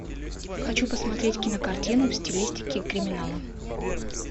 хочу посмотреть кинокартину в стилистике криминала